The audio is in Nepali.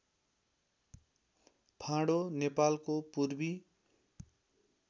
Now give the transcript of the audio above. फाँडो नेपालको पूर्वी